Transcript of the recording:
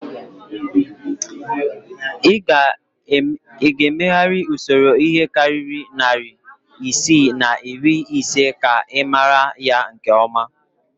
Ị ga-emegharị usoro ihe karịrị narị isii na iri ise ka ị mara ya nke ọma